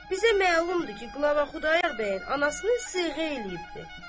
bizə məlumdur ki, qlava Xudayar bəyin anasını seyğə eləyibdir.